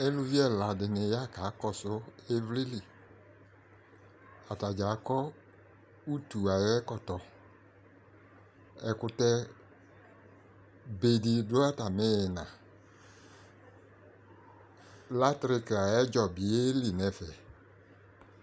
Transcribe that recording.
Eluvi ɛla dɩnɩ ya kakɔsʋ ɩvlɩ li Ata dza akɔ utu ayʋ ɛkɔtɔ Ɛkʋtɛbe dɩ dʋ atamɩ ɩɣɩna Latrɩkɩ ayʋ ɛdzɔ bɩ yeli nʋ ɛfɛ